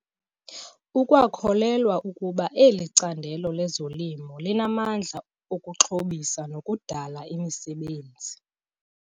Ukwakholelwa ukuba eli candelo lezolimo linamandla okuxhobisa nokudala imisebenzi.